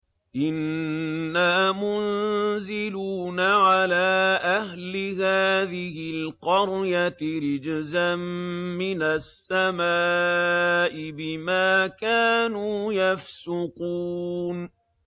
إِنَّا مُنزِلُونَ عَلَىٰ أَهْلِ هَٰذِهِ الْقَرْيَةِ رِجْزًا مِّنَ السَّمَاءِ بِمَا كَانُوا يَفْسُقُونَ